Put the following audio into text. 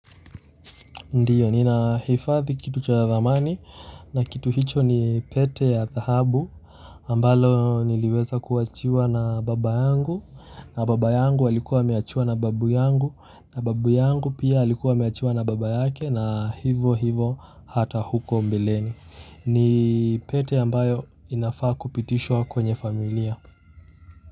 Ndiyo, ninahifadhi kitu cha thamani na kitu hicho ni pete ya dhahabu ambalo niliweza kuachiwa na baba yangu. Na baba yangu alikuwa ameachiwa na babu yangu, na babu yangu pia alikuwa ameachiwa na baba yake na hivyo hivyo hata huko mbeleni. Ni pete ambayo inafaa kupitishwa kwenye familia.